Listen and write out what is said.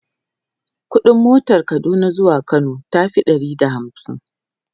ƙuɗin motan Kaduna zuwa Kano tafi Ɗari da hamsin